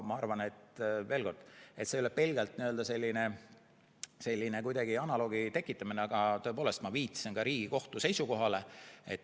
Ma arvan, et see ei ole pelgalt selline analoogi tekitamine, aga ma viitasin ka Riigikohtu seisukohale.